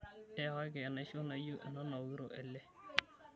Yakaki enaisho naijo ena nawokito ele.